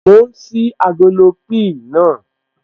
Mò ń ṣí agolo píì naa